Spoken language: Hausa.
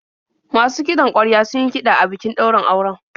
Masu kiɗan ƙwarya sun yi kiɗa a bikin daurin auren.